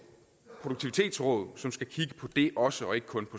produktivitetsråd som skal kigge på det også og ikke kun